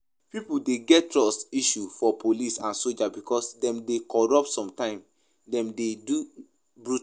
Pipo dey get trust issue for police and soldier because dem dey corrupt, sometimes dem de dey brutal